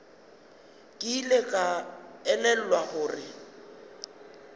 ke ile ka elelwa gore